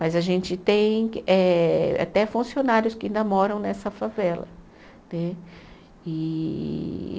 Mas a gente tem eh até funcionários que ainda moram nessa favela né. E